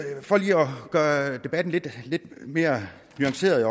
gøre debatten lidt mere nuanceret